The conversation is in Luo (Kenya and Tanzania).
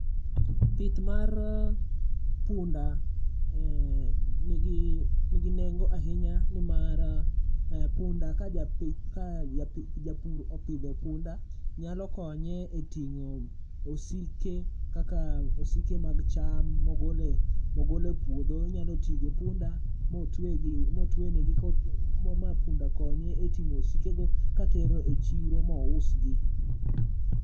Pith mar punda e ni gi nengo ahinya ni mar punda ja japith, ka japur opidho punda nyalo konye e tingo osike, kaka osike magi cha, ma ogolo e puodho. Onyalo ti gi punda ma otwe ma otwe ne gi ma punda konye e ting'o osiko go ka tero e chiro ma ousgi.